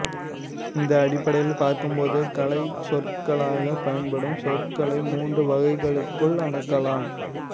இந்த அடிப்படையில் பார்க்கும்போது கலைச்சொற்களாகப் பயன்படும் சொற்களை மூன்று வகைகளுக்குள் அடக்கலாம்